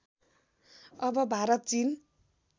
अब भारत चीन